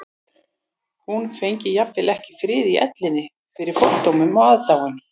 Hún fengi jafnvel ekki frið í ellinni fyrir fordómum og aðdáun